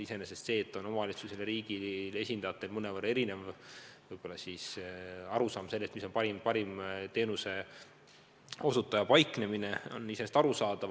Iseenesest on see, et omavalitsustel ja riigi esindajatel on mõnevõrra erinevad arusaamad, kus võiks teenuse osutaja paikneda.